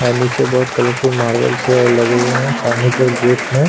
यहाँ नीचे बहुत कलरफुल मार्बल्स है लगे हुए है सामने की ओर गेट में --